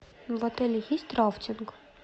в отеле есть рафтинг